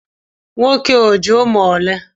Nwoke a o ji umu ole?